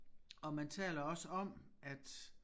Og man taler også om at